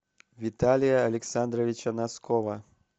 виталия александровича носкова